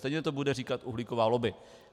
Stejně to bude říkat uhlíková lobby.